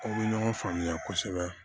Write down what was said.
Aw bɛ ɲɔgɔn faamuya kosɛbɛ